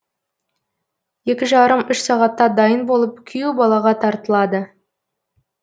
екі жарым үш сағатта дайын болып күйеу балаға тартылады